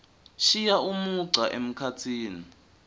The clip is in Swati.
shiya umugca emkhatsini